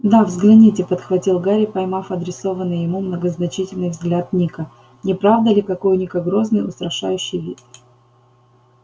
да взгляните подхватил гарри поймав адресованный ему многозначительный взгляд ника не правда ли какой у ника грозный устрашающий вид